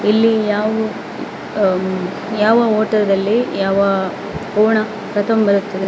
ಇಲ್ಲಿ ಯಾವು ಅಹ್ ಯಾವ ಹೋಟೆಲ್ ಅಲ್ಲಿ ಯಾವ ಕೋಣ ಕತಂಬರುತ್ತದೆ.